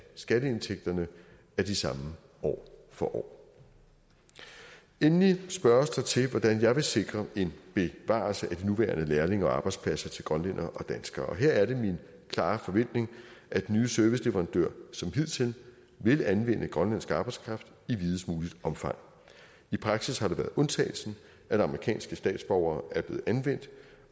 skatteindtægterne er de samme år for år endelig spørges der til hvordan jeg vil sikre en bevarelse af de nuværende lærlinge og arbejdspladser til grønlændere og danskere her er det min klare forventning at nye serviceleverandører som hidtil vil anvende grønlandsk arbejdskraft i videst muligt omfang i praksis har det været undtagelsen at amerikanske statsborgere er blevet anvendt